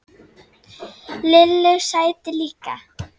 Lillu sæti líka.